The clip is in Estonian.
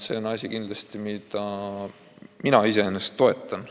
See on kindlasti asi, mille täiustamist ma toetan.